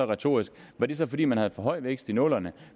retorisk var det så fordi man havde for høj vækst i nullerne